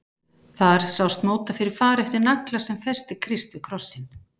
Þar sást móta fyrir fari eftir nagla sem festi Krist við krossinn.